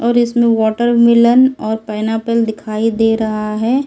और इसमें वाटरमेलन और पाइनएप्पल दिखाई दे रहा है।